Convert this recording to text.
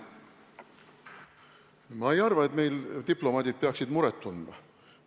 Ma ei arva, et meil diplomaadid peaksid muret tundma.